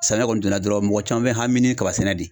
Samiya kɔni donna dɔrɔn mɔgɔ caman bɛ hami ni kaba sɛnɛ de